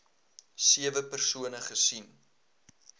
sewe persone gesien